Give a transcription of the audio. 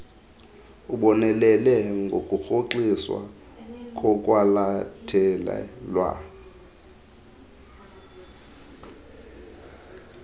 ubonelele ngokurhoxiswa kokwalathelwa